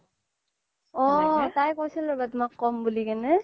ঔ তাই কৈছিল ৰবা তুমাক ক্'ম বুলি কিনে